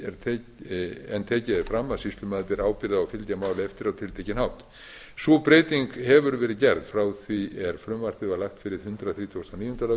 en tekið er fram að sýslumaður beri ábyrgð á að fylgja máli eftir á tiltekinn hátt sú breyting hefur verið gerð frá því er frumvarpið var lagt fyrir hundrað þrítugasta og